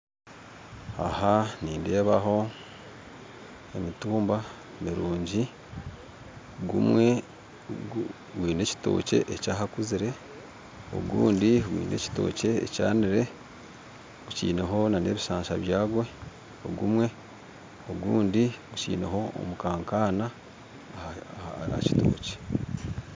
Aha nindeebaho emitumba mirungi gumwe gwine ekitookye ekyahakuzire ogundi gwine ekitookye ekyanire gukiineho n'ebishansha byagwo ogumwe ogundi gukiineho omukankaana aha kitookye